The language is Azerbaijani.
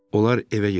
Onlar evə getdilər.